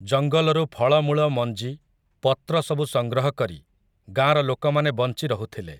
ଜଙ୍ଗଲରୁ ଫଳମୂଳ ମଞ୍ଜି, ପତ୍ରସବୁ ସଂଗ୍ରହ କରି, ଗାଁର ଲୋକମାନେ ବଞ୍ଚି ରହୁଥିଲେ ।